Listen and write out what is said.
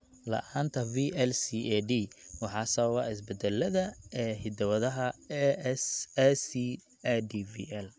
La'aanta VLCAD waxaa sababa isbeddellada (isbeddellada) ee hidda-wadaha ACADVL.